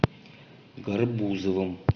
гарбузовым